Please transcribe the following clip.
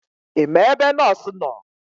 Ima ebe nọọsụ nọọ?